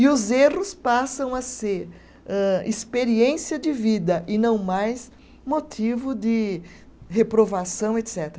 E os erros passam a ser âh, experiência de vida e não mais motivo de reprovação, etcetera